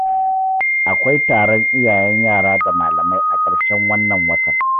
Akwai taron iyayen yara da malamai a ƙarshen wannan watan.